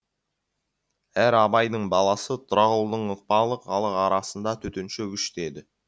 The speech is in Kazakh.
әрі абайдың баласы тұрағұлдың ықпалы халық арасында төтенше күшт еді